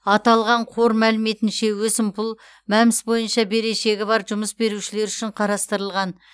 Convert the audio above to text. аталған қор мәліметінше өсімпұл мәмс бойынша берешегі бар жұмыс берушілер үшін қарастырылған